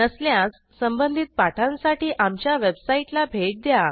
नसल्यास संबंधित पाठांसाठी आमच्या वेबसाईटला भेट द्या